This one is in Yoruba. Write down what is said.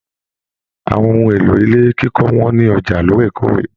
Àwọn ohùn èlò ilé kíkọ wọ́n ní ọjà lóòrèkóòrè.